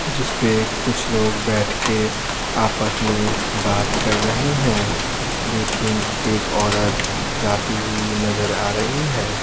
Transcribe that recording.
जिस पे कुछ लोग बैठ के आपस में बात कर रहे हैं लेकिन एक औरत जाती हुई नजर आ रही है।